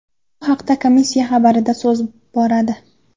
Bu haqda komissiya xabarida so‘z bo‘radi .